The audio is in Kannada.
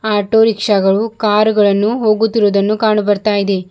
ಆಟೋ ರಿಕ್ಷಾ ಗಳು ಕಾರ್ ಗಳನ್ನು ಹೋಗುತ್ತಿರುವುದನ್ನು ಕಾಣು ಬರ್ತಾ ಇದೆ.